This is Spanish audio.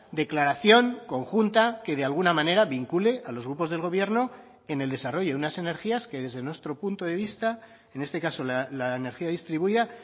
declaración conjunta que de alguna manera vincule a los grupos del gobierno en el desarrollo de unas energías que desde nuestro punto de vista en este caso la energía distribuida